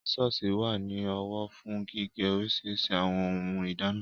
Sísọ̀sì wà ní ọwọ́ fún gígé oríṣiríṣi àwọn ohun ìdáná